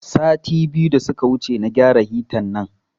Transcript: Sati biyu da suka wuce na gyara hita nan